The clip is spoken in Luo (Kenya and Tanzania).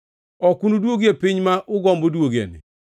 Ok unuduogie piny ma ugombo duogoeni.”